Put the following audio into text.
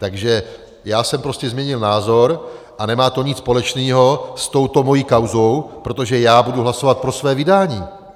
Takže já jsem prostě změnil názor a nemá to nic společného s touto mou kauzou, protože já budu hlasovat pro svoje vydání.